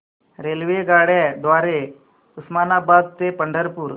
रेल्वेगाड्यां द्वारे उस्मानाबाद ते पंढरपूर